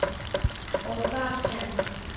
og þar sem